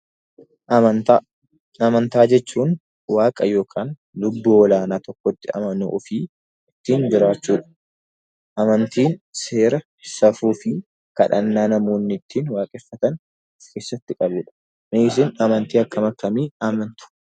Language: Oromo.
Amantaa jechuun waaqa yookaan lubbuu olaanaa tokkotti amana ofii ittiin jiraachuudha. Amantiin seera, safuu fi kadhannaa namoonni ittiin waaqeffatan of keessatti qabudha. Mee isin amantii akkam akkamii amantu?